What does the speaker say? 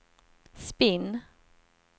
spinn